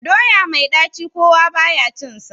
Doya mai ɗaci kowa ba ya cinsa.